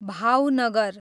Bhavnagar